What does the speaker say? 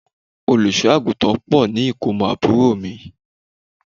Olùṣọ́-àgùntàn pò ní ikomo àbúrò mi.